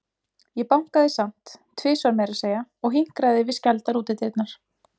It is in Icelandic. Ég bankaði samt, tvisvar meira að segja, og hinkraði við skældar útidyrnar.